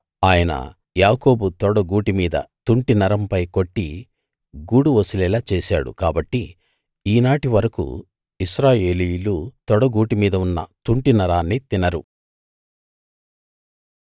ఆయన యాకోబు తొడగూటి మీది తుంటినరంపై కొట్టి గూడు వసిలేలా చేసాడు కాబట్టి ఈనాటి వరకూ ఇశ్రాయేలీయులు తొడ గూటి మీద ఉన్న తుంటినరాన్ని తినరు